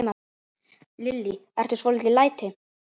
Lillý: Eru svolítil læti?